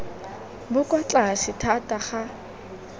bo kwa tlase thata ga